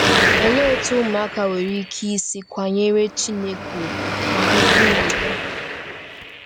Olee otú ụmụaka nwere ike isi kwanyere Chineke ùgwù ma hụkwa uru ya?